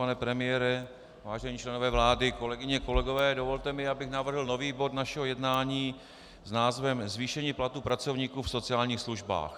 Pane premiére, vážení členové vlády, kolegyně, kolegové, dovolte mi, abych navrhl nový bod našeho jednání s názvem Zvýšení platů pracovníků v sociálních službách.